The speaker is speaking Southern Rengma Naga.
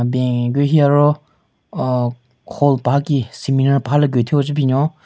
Ben higu hi aro aaaa hall paha ki seminar paha le gu thyu oo che binyon.